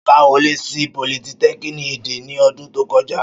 Ṣọlá wọlé sí politẹ́kíníìkì Ẹdẹ ní ọdún tó kọjá